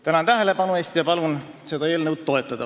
Tänan tähelepanu eest ja palun seda eelnõu toetada!